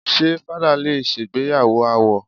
Ṣé fadá lè ṣègbéyàwó àwó?